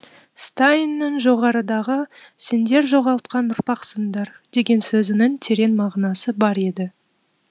стайннің жоғарыдағы сендер жоғалтқан ұрпақсыңдар деген сөзінің терең мағынасы бар еді